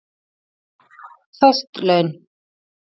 Föst laun